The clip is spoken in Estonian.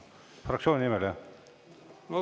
Fraktsiooni nimel, jah?